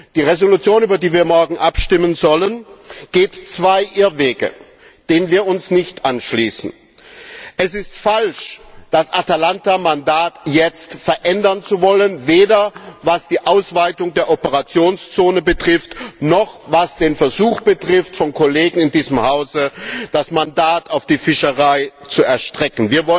Die Entschließung, über die wir morgen abstimmen sollen, geht zwei Irrwege, denen wir uns nicht anschließen Es ist falsch, das Atalanta Mandat jetzt verändern zu wollen, weder was die Ausweitung der Operationszone noch was den Versuch von Kollegen in diesem Hause betrifft, das Mandat auf die Fischerei auszuweiten.